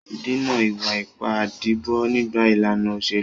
Dènà ìwà ipá ìdìbò nígbà ìlànà òṣèlú.